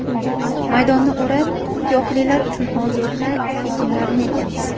Maydonni o‘rab, tuyoqlilar uchun ozuqa ekinlarini ekamiz.